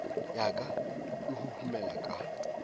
ya ka e huhumela ka